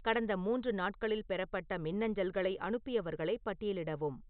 கடந்த மூன்று நாட்களில் பெறப்பட்ட மின்னஞ்சல்களை அனுப்பியவர்களை பட்டியலிடவும்